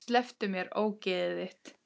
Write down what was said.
Slepptu mér, ógeðið þitt!